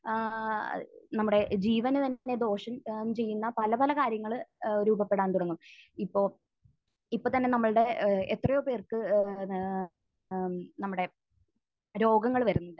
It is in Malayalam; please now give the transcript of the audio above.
ആഹ് നമ്മുടെ ജീവന് തന്നെ ദോഷം ചെയ്യുന്ന പല പല കാര്യങ്ങൾ ഏഹ് രൂപപ്പെടാൻ തുടങ്ങും. ഇപ്പോൾ ഇപ്പോൾ തന്നെ നമ്മളുടെ ഏഹ് എത്രയോ പേർക്ക് ഏഹ് ഏഹ് നമ്മുടെ രോഗങ്ങൾ വരുന്നുണ്ട്.